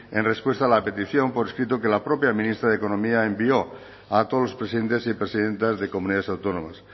en respuesta a la petición por escrito que la propia ministra de economía envió a todos los presidentes y presidentas de comunidades autónomas